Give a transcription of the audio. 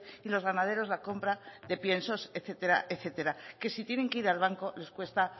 y los ganaderos la compra de piensos etcétera etcétera que si tienen que ir al banco les cuesta